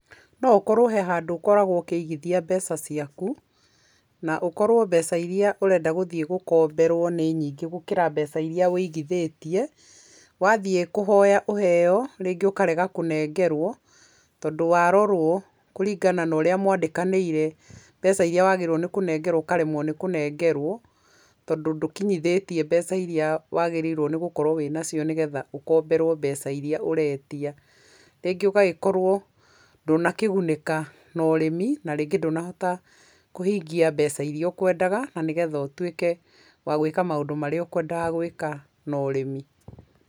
No ũkorwo he handũ ũkoragwo ũkĩigithia mbeca ciaku, na ũkorwo mbeca iria ũrenda gũthiĩ gũkomberwo nĩ nyingĩ gũkĩra mbeca iria wĩigithĩtie, wathiĩ kũhoya ũheyo rĩngĩ ũkarega kũnengerwo, tondũ warorwo kũringana na ũrĩa mwandĩkanĩre, mbeca iria wagĩrĩire nĩ kũnengerwo ũkaremwo nĩ kũnengerwo, tondũ ndũkinyithatie mbeca iria wagĩrĩrwo nĩ gukorwo wĩnacio, nĩgetha ũkomberwo mbeca iria ũretia, rĩngĩ ũgagĩkorwo ndũnakĩgunĩka na ũrĩmi, na rĩngĩ ndũnahota kũhingia mbeca iria ũkwendaga na nĩ getha ũtwĩke wa gwĩka maũndũ marĩa ũkwendaga gwĩka na ũrĩmi.